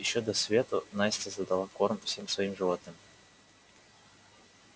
ещё до свету настя задала корм всем своим животным